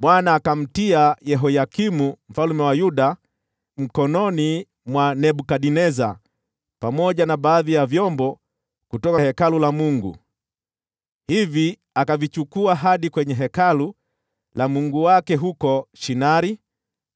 Bwana akamtia Yehoyakimu mfalme wa Yuda mkononi mwa Nebukadneza, pamoja na baadhi ya vyombo kutoka Hekalu la Mungu. Hivi akavichukua hadi kwenye hekalu la mungu wake huko Shinari,